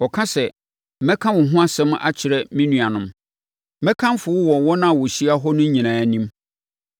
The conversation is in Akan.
Ɔka sɛ, “Mɛka wo ho asɛm akyerɛ me nuanom, mɛkamfo wo wɔ wɔn a wɔahyia hɔ no nyinaa anim.”